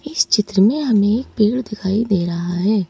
इस चित्र में हमें एक पेड़ दिखाई दे रहा है।